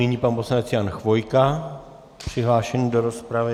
Nyní pan poslanec Jan Chvojka přihlášený do rozpravy.